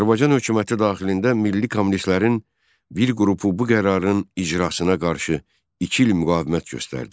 Azərbaycan hökuməti daxilində milli kommunistlərin bir qrupu bu qərarın icrasına qarşı iki il müqavimət göstərdi.